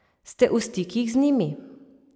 Ste v stikih z njimi?